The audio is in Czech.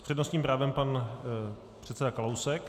S přednostním právem pan předseda Kalousek.